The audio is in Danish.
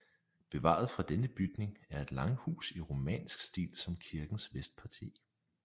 Bevaret fra denne bygning er et langhus i romansk stil som kirkens vestparti